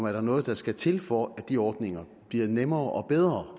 er noget der skal til for at de ordninger bliver nemmere og bedre